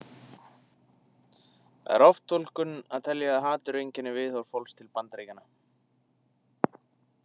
Það er oftúlkun að telja að hatur einkenni viðhorf fólks til Bandaríkjamanna.